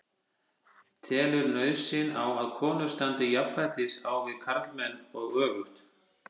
Telurðu nauðsyn á að konur standi jafnfætis á við karlmenn og öfugt?